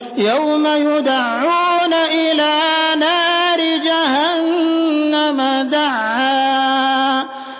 يَوْمَ يُدَعُّونَ إِلَىٰ نَارِ جَهَنَّمَ دَعًّا